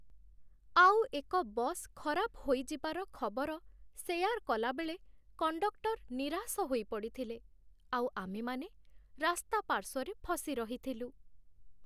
ଆଉ ଏକ ବସ୍ ଖରାପ ହୋଇଯିବାର ଖବର ସେୟାର୍ କଲାବେଳେ କଣ୍ଡକ୍ଟର୍ ନିରାଶ ହୋଇ ପଡ଼ିଥିଲେ, ଆଉ ଆମେମାନେ ରାସ୍ତା ପାର୍ଶ୍ୱରେ ଫସି ରହିଥିଲୁ।